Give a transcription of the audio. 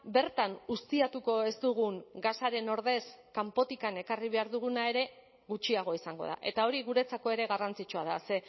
bertan ustiatuko ez dugun gasaren ordez kanpotik ekarri behar duguna ere gutxiago izango da eta hori guretzako ere garrantzitsua da ze